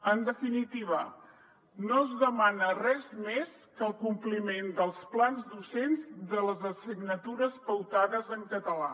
en definitiva no es demana res més que el compliment dels plans docents de les assignatures pautades en català